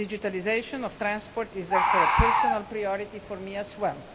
Digitalisation of transport is therefore a personal priority for me as well.